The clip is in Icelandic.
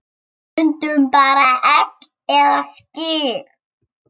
Stundum bara egg eða skyr.